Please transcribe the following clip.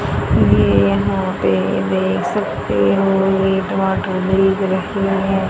ये यहां पे देख सकते हो एक वाटर हैं।